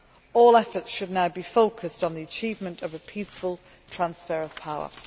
All efforts should now be focused on the achievement of a peaceful transfer of power.